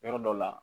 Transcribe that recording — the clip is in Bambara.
Yɔrɔ dɔ la